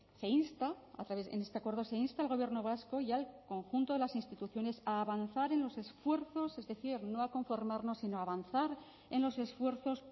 se insta a través en este acuerdo se insta al gobierno vasco y al conjunto de las instituciones a avanzar en los esfuerzos es decir no a conformarnos sino a avanzar en los esfuerzos